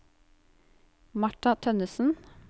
Martha Tønnesen